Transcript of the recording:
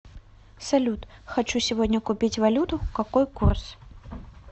салют хочу сегодня купить валюту какой курс